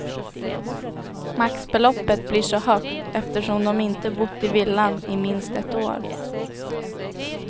Maxbeloppet blir så högt eftersom de inte bott i villan i minst ett år.